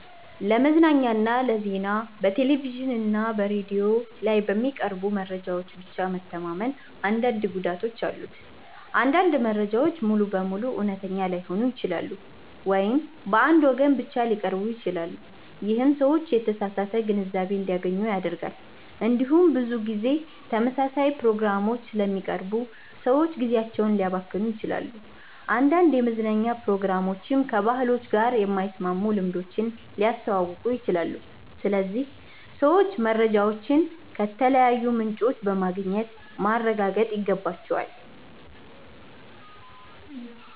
ለመዝናኛና ለዜና በቴሌቪዥን እና በሬዲዮ ላይ በሚቀርቡ መረጃዎች ብቻ መተማመን አንዳንድ ጉዳቶች አሉት። አንዳንድ መረጃዎች ሙሉ በሙሉ እውነተኛ ላይሆኑ ይችላሉ ወይም በአንድ ወገን ብቻ ሊቀርቡ ይችላሉ። ይህም ሰዎች የተሳሳተ ግንዛቤ እንዲያገኙ ያደርጋል። እንዲሁም ብዙ ጊዜ ተመሳሳይ ፕሮግራሞች ስለሚቀርቡ ሰዎች ጊዜያቸውን ሊያባክኑ ይችላሉ። አንዳንድ የመዝናኛ ፕሮግራሞችም ከባህላችን ጋር የማይስማሙ ልምዶችን ሊያስተዋውቁ ይችላሉ። ስለዚህ ሰዎች መረጃዎችን ከተለያዩ ምንጮች በማግኘት ማረጋገጥ ይገባቸዋል።